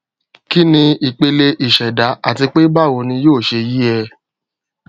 kí ni ìpele ìṣẹdá àti pé báwo ni yóò ṣe yè é